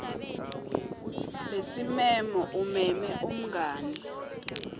lesimemo umeme umngani